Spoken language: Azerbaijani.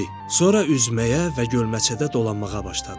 Sonra üzməyə və gölməçədə dolanmağa başladı.